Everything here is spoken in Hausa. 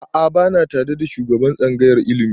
A'a ba na tare da shugaban tsangayar ilimi